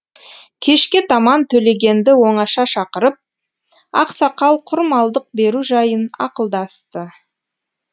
кешке таман төлегенді оңаша шақырып ақсақал құрмалдық беру жайын ақылдасты